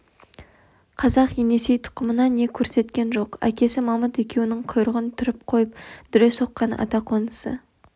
қазақ енесей тұқымына не көрсеткен жоқ әкесі мамыт екеуінің құйрығын түріп қойып дүре соққан ата қонысы